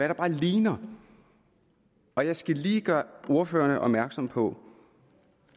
der bare ligner og jeg skal lige gøre ordførerne opmærksom på